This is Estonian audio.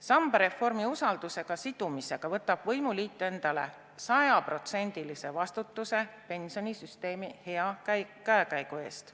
Sambareformi usaldushääletusega sidumisega võtab võimuliit endale sajaprotsendilise vastutuse pensionisüsteemi hea käekäigu eest.